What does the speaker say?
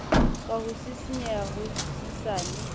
ka ho sisinyeha ho hosesane